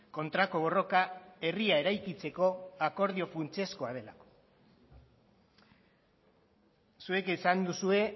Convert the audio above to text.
kontrako borroka herria eraikitzeko akordio funtsezkoa delako zuek esan duzue